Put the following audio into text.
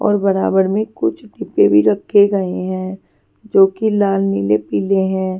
और बराबर में कुछ डिब्बे भी रखे गए हैं जो कि लाल नीले पीले हैं.